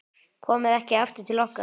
Komir ekki aftur til okkar.